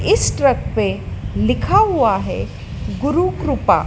इस ट्रक पे लिखा हुआ है गुरु कृपा--